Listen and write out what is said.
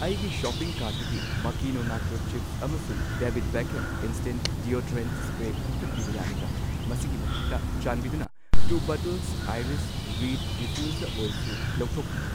ꯑꯩꯒꯤ ꯁꯣꯄꯤꯡ ꯀꯥꯔꯠꯇꯒꯤ ꯃꯥꯀꯤꯅꯣ ꯅꯥꯆꯣ ꯆꯤꯞꯁ ꯑꯃꯁꯨꯡ ꯗꯦꯕꯤꯗ ꯕꯦꯛꯈꯝ ꯢꯟꯁ꯭ꯇꯦꯟꯠ ꯗꯤꯑꯣꯗꯣꯔꯦꯟꯠ ꯁꯄ꯭ꯔꯦ ꯀꯛꯊꯠꯄꯤꯕ ꯌꯥꯒꯗ꯭ꯔꯥ? ꯃꯁꯤꯒꯤ ꯃꯊꯛꯇ, ꯆꯥꯟꯕꯤꯗꯨꯅ two bottles iris reed diffuser oil ꯁꯨ ꯂꯧꯊꯣꯛꯄꯤꯌꯨ꯫